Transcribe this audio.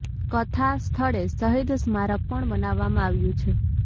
કથા સ્થળે શહીદ સ્મારક પણ બનાવવામાં આવ્યું છે